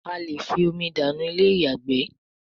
a lẹ fí omi dànù Ilé-ìyàgbé